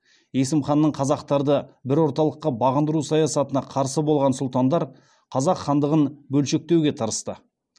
есім ханның қазақтарды бір орталыққа бағындыру саясатына қарсы болған сұлтандар қазақ хандығын бөлшектеуге тырысты